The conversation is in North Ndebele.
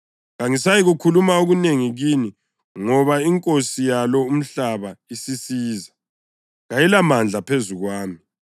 Kangisayikukhuluma okunengi kini ngoba inkosi yalo umhlaba isisiza. Kayilamandla phezu kwami,